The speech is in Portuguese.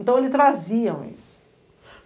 Então eles traziam isso.